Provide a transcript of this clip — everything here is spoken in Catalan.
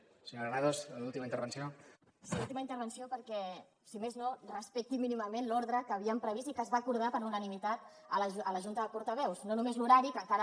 sí última intervenció perquè si més no respecti mínimament l’ordre que havíem previst i que es va acordar per unanimitat a la junta de portaveus no només l’horari que encara